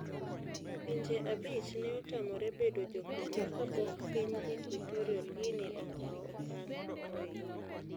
Pinje abich ne otamore bedo jokanyo kapok piny Equatorial Guinea okawo okang' oyie.